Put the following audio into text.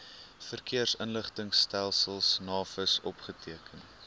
verkeersinligtingstelsel navis opgeteken